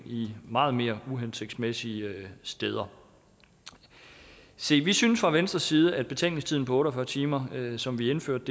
meget mere uhensigtsmæssige steder se vi synes fra venstres side at betænkningstiden på otte og fyrre timer som vi indførte